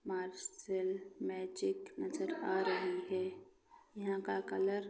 martial Magic नजर आ रही है यहाँ का कलर --